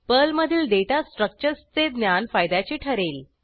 पर्लमधील डेटा स्ट्रक्चर्सचे ज्ञान फायद्याचे ठरेल